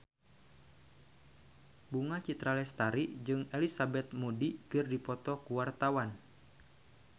Bunga Citra Lestari jeung Elizabeth Moody keur dipoto ku wartawan